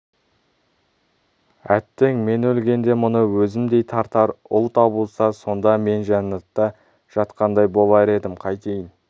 әттең мен өлгенде мұны өзімдей тартар ұл табылса сонда мен жаннатта жатқандай болар едім қайтейін